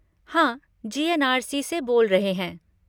हाँ, जी.एन.आर.सी. से बोल रहे हैं।